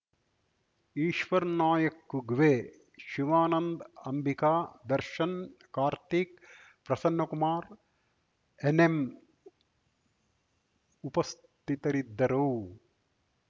Eshwarnayak Kugve Shivanand Ambika Darshan Karthik Prasannakumar NM ಉಪಸ್ಥಿತರಿದ್ದರು